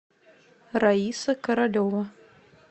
раиса королева